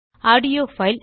audio file